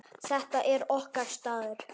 Þetta er okkar staður.